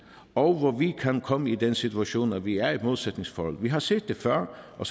og hvor vi kan komme i den situation at vi er i et modsætningsforhold vi har set det før og